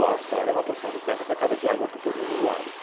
Bom, a Austrália é uma porção de terra cercada de água por todos os lados.